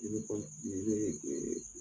I bɛ dɔɔni siri ne ye dee